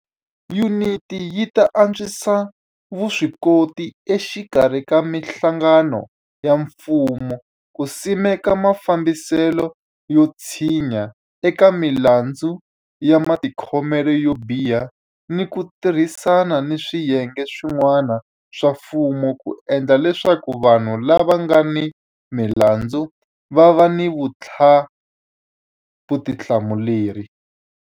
Yuniti yi ta antswisa vuswikoti exikarhi ka mihlangano ya mfumo ku simeka mafambiselo yo tshinya eka milandzu ya matikhomelo yo biha ni ku ti rhisana ni swiyenge swi n'wana swa mfumo ku endla leswaku vanhu lava nga ni milandzu va va ni vuthla muleri.